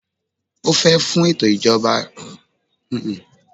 O fẹ fun eto ijọba olominira kan.